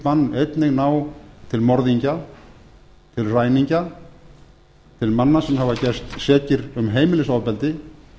bann einnig ná til morðingja til ræningja til manna sem hafa gerst sekir um heimilisofbeldi